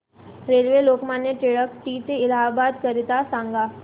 railway Lokmanya Tilak ट ते इलाहाबाद करीता सांगा